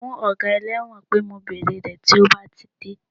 Sọ fún ọga ẹlẹ́wọ̀n pé mo bèrè rẹ̀ tí ó bá ti dé